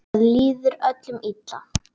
Það líður öllum illa.